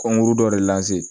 Kɔnkuru dɔ de